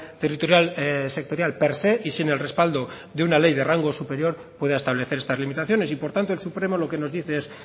territorial sectorial per se y sin el respaldo de una ley de rango superior pueda establecer estas limitaciones y por tanto el supremo lo que nos dice es